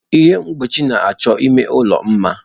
Ihe mgbochi na-achọ ime ụlọ mma.